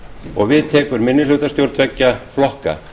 og við tekur minnihlutastjórn tveggja flokka